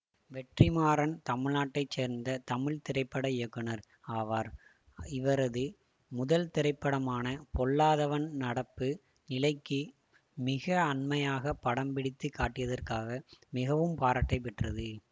வெற்றிமாறன் தமிழ்நாட்டை சேர்ந்த தமிழ் திரைப்பட இயக்குநர் ஆவார் இவரது முதல் திரைப்படமான பொல்லாதவன் நடப்பு நிலைக்கு மிக அண்மையாகப் படம்பிடித்துக் காட்டியதற்காக மிகவும் பாராட்டை பெற்றது